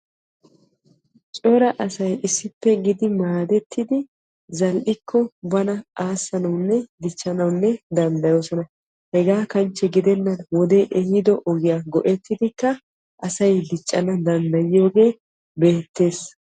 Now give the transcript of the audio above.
Cora asay issippe gididi maaddettidi zal"ikko bana aassanawunne dichchanawu danddayoosona. hegaa kanchche gidennan wodee ehido ogiyaa go"ettidikka asay diccana danddayiyogee beettees.